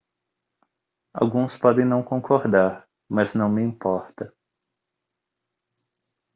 alguns podem não concordar mas não me importa